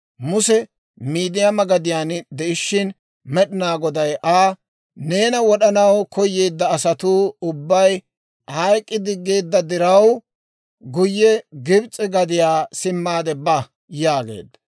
Muse Miidiyaama gadiyaan de'ishshin Med'inaa Goday Aa, «Neena wod'anaw koyeedda asatuu ubbay hayk'k'i diggeedda diraw, guyye Gibs'e gadiyaa simmaade ba» yaageedda.